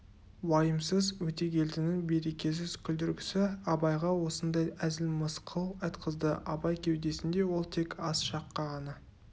уайымсыз өтегелдінің берекесіз күлдіргісі абайға осындай әзіл мысқыл айтқызды абай кеудесінде ол тек аз шаққа ғана